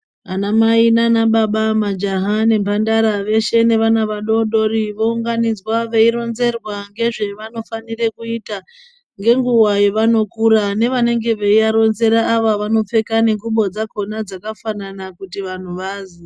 Anamai naanababa, majaha nemhandara veshe vana vadodoriwo vanounganidzwa veindoronzerwa ngezvevanonofanire kuita ngenguwa yavanokura. Nevanenge veiadetsera vakhona vanopfeke ngubo dzakhona dzakafanana kuti vanhu vaziye.